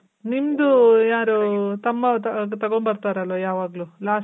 ನಿಮ್ದು ಯಾರು ತಮ್ಮ ತಗೊಂಬರ್ತಾರಲ್ಲ ಯಾವಾಗ್ಲೂ last